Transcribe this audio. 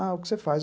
Ah, o que você faz?